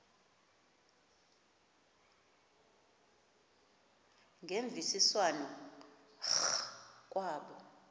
ngemvisiswano r kwabo